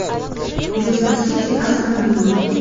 лестер сити астон вилла